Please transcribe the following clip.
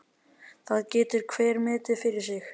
Það getur hver metið fyrir sig.